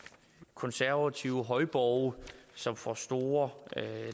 konservative højborge som får store